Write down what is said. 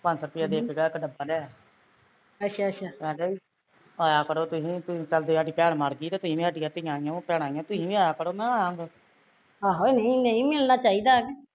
ਪੰਜ ਸੋਂ ਰੁਪਿਆ ਦੇ ਕੇ ਗਿਆ ਇੱਕ ਡੱਬਾ ਲਿਆਇਆ ਕਹਿੰਦਾ ਵੀ ਆਇਆ ਕਰੋ ਤੁਸੀਂ ਜੇ ਸਾਡੀ ਭੈਣ ਮਰਗੀ ਤੇ ਤੁਸੀਂ ਵੀ ਸਾਡੀਆ ਧੀਆ ਓ ਭੈਣਾਂ ਈ ਐ ਤੁਸੀਂ ਵੀ ਆਇਆ ਕਰੋ ਨਾ ਆਪ